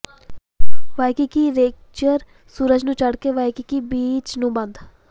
Waikiki ਰੇਗਜਰ ਸੂਰਜ ਚੜ੍ਹ ਕੇ ਵਾਇਕੀਕੀ ਬੀਚ ਨੂੰ ਬੰਦ